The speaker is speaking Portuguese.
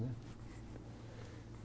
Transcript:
Né?